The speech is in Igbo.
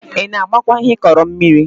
Ị na-agbakwa ihe ịkọrọ mmiri?